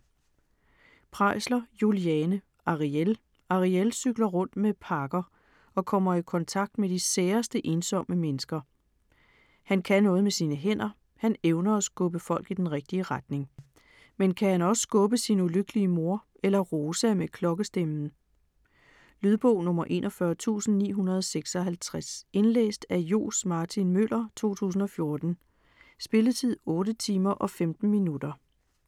Preisler, Juliane: Arièl Ariél cykler rundt med pakker og kommer i kontakt med de særeste, ensomme mennesker. Han kan noget med sine hænder: han evner at skubbe folk i den rigtige retning. Men kan han også skubbe sin ulykkelige mor eller Rosa med klokkestemmen? Lydbog 41956 Indlæst af Johs. Martin Møller, 2014. Spilletid: 8 timer, 15 minutter.